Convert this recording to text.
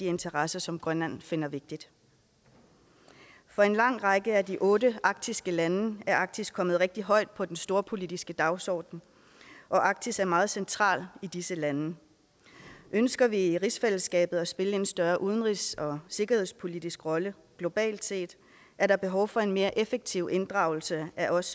interesser som grønland finder vigtige for en lang række af de otte arktiske lande er arktis kommet rigtig højt på den storpolitiske dagsorden og arktis er meget centralt i disse lande ønsker vi i rigsfællesskabet at spille en større udenrigs og sikkerhedspolitisk rolle globalt set er der behov for en mere effektiv inddragelse af os